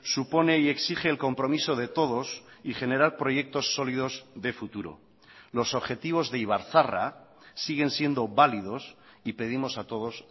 supone y exige el compromiso de todos y generar proyectos sólidos de futuro los objetivos de ibarzaharra siguen siendo válidos y pedimos a todos